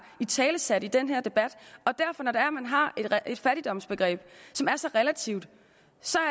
italesat dem i den her debat når man har et fattigdomsbegreb som er så relativt